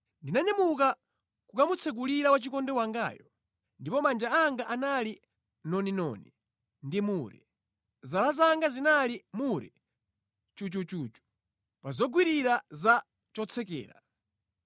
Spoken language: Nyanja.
Ndinanyamuka kukamutsekulira wachikondi wangayo, ndipo manja anga anali noninoni ndi mure, zala zanga zinali mure chuchuchu, pa zogwirira za chotsekera.